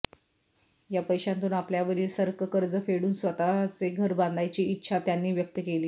या पैशांतून आपल्यावरील सर्क कर्ज फेडून स्कतःचे घर बांधायची इच्छा त्यांनी व्यक्त केली आहे